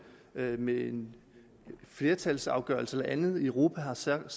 med en flertalsafgørelse eller andet i europa har siddet og